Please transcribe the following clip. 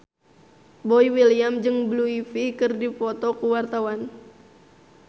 Boy William jeung Blue Ivy keur dipoto ku wartawan